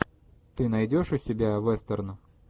ты найдешь у себя вестерн